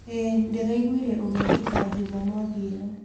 ĩĩ, ndiraiguire ũgekĩka Jumamothi ĩno